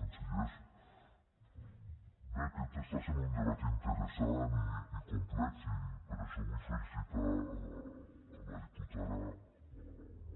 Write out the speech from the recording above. consellers bé aquest està sent un debat interessant i complex i per això vull felicitar la diputada